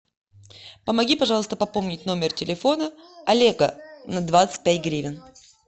помоги пожалуйста пополнить номер телефона олега на двадцать пять гривен